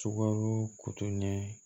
Sukaro kutuɲɛ